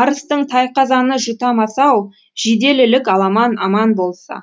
арыстың тайқазаны жұтамас ау жиделілік аламан аман болса